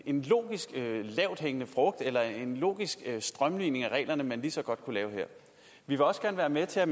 en logisk lavthængende frugt eller en logisk strømlining af reglerne man lige så godt kunne lave her vi vil også gerne være med til at